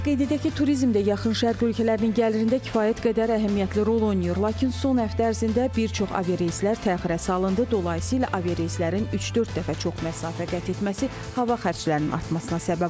Qeyd edək ki, turizm də yaxın Şərq ölkələrinin gəlirində kifayət qədər əhəmiyyətli rol oynayır, lakin son həftə ərzində bir çox aviareyslər təxirə salındı, dolayısı ilə aviareyslərin üç-dörd dəfə çox məsafə qət etməsi hava xərclərinin artmasına səbəb olub.